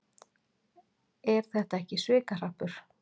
Er þetta ekki svikahrappur?